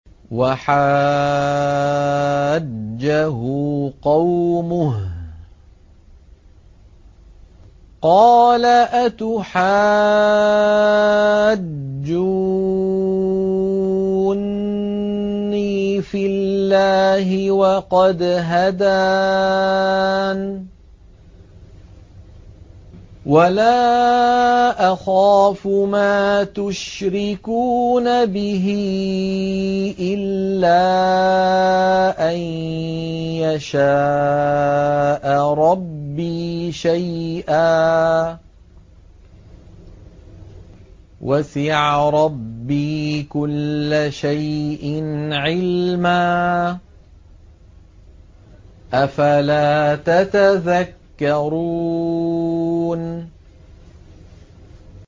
وَحَاجَّهُ قَوْمُهُ ۚ قَالَ أَتُحَاجُّونِّي فِي اللَّهِ وَقَدْ هَدَانِ ۚ وَلَا أَخَافُ مَا تُشْرِكُونَ بِهِ إِلَّا أَن يَشَاءَ رَبِّي شَيْئًا ۗ وَسِعَ رَبِّي كُلَّ شَيْءٍ عِلْمًا ۗ أَفَلَا تَتَذَكَّرُونَ